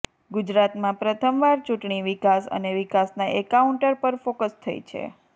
ગુજરાતમાં પ્રથમ વાર ચૂંટણી વિકાસ અને વિકાસના એન્કાઉન્ટર પર ફોક્સ થઈ છે